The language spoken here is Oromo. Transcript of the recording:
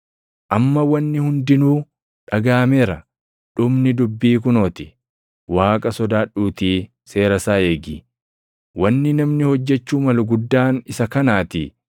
Amma wanni hundinuu dhagaʼameera; dhumni dubbii kunoo ti; Waaqa sodaadhuutii seera isaa eegi; wanni namni hojjechuu malu guddaan isa kanaatii.